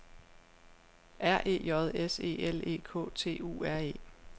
R E J S E L E K T U R E